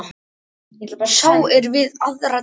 Sá er við aðra tíu.